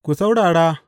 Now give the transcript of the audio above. Ku saurara!